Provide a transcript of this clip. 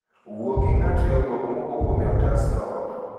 Wuo gi ng'at / riwruok mowuo kuome e otasno